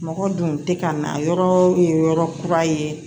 Mɔgɔ dun tɛ ka na yɔrɔ ye yɔrɔ kura ye